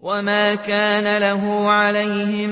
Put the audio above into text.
وَمَا كَانَ لَهُ عَلَيْهِم